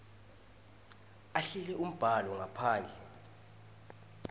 ahlele umbhalo ngaphandle